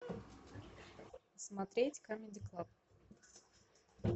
смотреть камеди клаб